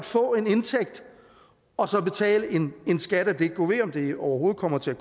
få en indtægt og så betale en skat af det gud ved om det overhovedet kommer til at